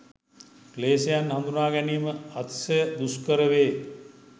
ක්ලේෂයන් හඳුනා ගැනීම අතිශය දුෂ්කර වේ.